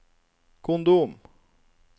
kondom